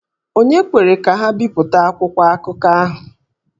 Ònye kwere ka ha bipụta akwụkwọ akụkọ ahụ?